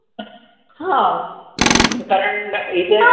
हां कारण इथे